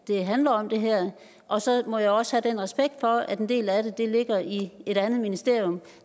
det her handler om og så må jeg også have respekt for at en del af det ligger i et andet ministerium